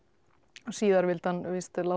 síðar vildi hann víst